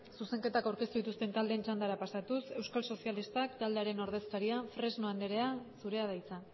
zuzenketak aurkeztu dituzten taldeen txandara pasatuz euskal sozialistak taldearen ordezkaria fresno andrea zurea da hitza